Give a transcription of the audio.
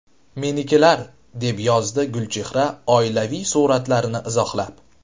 Menikilar”, deb yozdi Gulchehra oilaviy suratlarini izohlab.